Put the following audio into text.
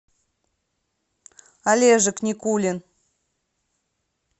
олежек никулин